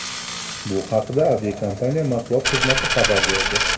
Bu haqda aviakompaniya matbuot xizmati xabar berdi .